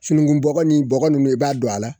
Sununkun bɔkɔ ni bɔkɔ nunnu i b'a don a la